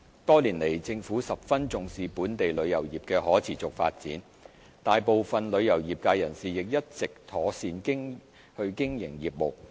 多年來，政府十分重視本港旅遊業的可持續發展，大部分旅遊業界人士亦一直妥善經營業務。